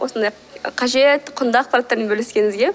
осындай қажет құнды ақпараттармен бөліскеніңізге